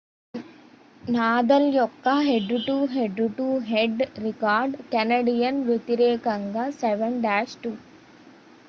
Nadal యొక్క head to head to head record Canadian వ్యతిరేకంగా 7-2